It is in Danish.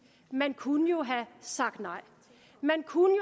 man kunne jo have sagt nej man kunne